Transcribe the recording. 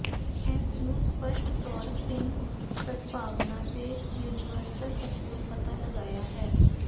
ਇਸ ਨੂੰ ਸਪਸ਼ਟ ਤੌਰ ਭਿਨ ਸਦਭਾਵਨਾ ਦੇ ਯੂਨੀਵਰਸਲ ਅਸੂਲ ਪਤਾ ਲਗਾਇਆ ਹੈ